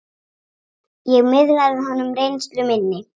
Ég miðlaði honum reynslu minni.